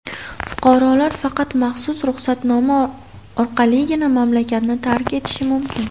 Fuqarolar faqat maxsus ruxsatnoma orqaligina mamlakatni tark etishi mumkin.